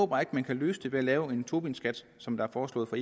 bare ikke man kan løse det ved at lave en tobinskat som der er foreslået fra